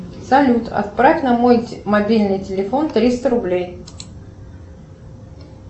салют отправь на мой мобильный телефон триста рублей